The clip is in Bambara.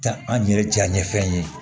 Ta an yɛrɛ jaɲɛfɛn ye